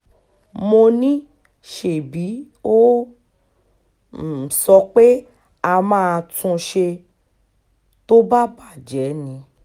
mo ní ṣebí ó um sọ pé á máa tún un ṣe um tó bá bàjẹ́ ni